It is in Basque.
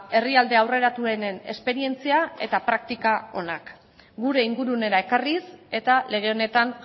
herrialde aurreratuenen esperientzia eta praktika onak gure ingurunera ekarriz eta lege honetan